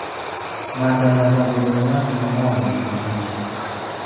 Ng'ato nyaka bed ng'at mang'won gi kich.